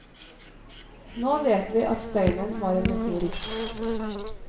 Nå vet vi at steinen var en meteoritt.